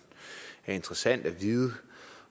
interessant at vide